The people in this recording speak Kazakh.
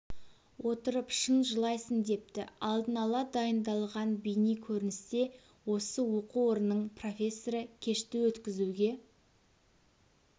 отырып шын жылайсың депті алдын ала дайындалған бейне көріністе осы оқу орнының профессері кешті өткізуге